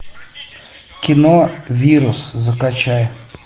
кино вирус закачай